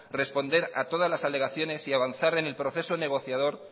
responder a todas las alegaciones y avanzar en el proceso negociador